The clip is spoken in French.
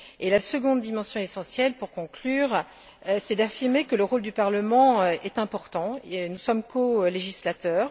La seconde dimension essentielle, pour conclure, c'est d'affirmer que le rôle du Parlement est important. Nous sommes colégislateurs.